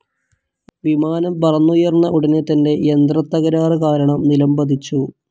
വിമാനം പറന്നുയർന്ന ഉടനെ തന്നെ യന്ത്രതതകരാറ് കാരണം നിലംപതിച്ചു.